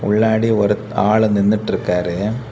உள்ளாடி ஒரு ஆளு நின்னுட்டு இருக்காரு.